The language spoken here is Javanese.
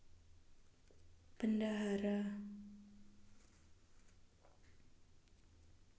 Bendahara